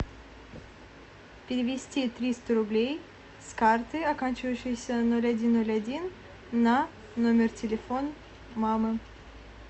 перевести триста рублей с карты оканчивающейся ноль один ноль один на номер телефона мамы